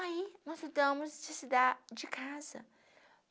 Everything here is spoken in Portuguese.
Aí, nós mudamos de cidade, de casa.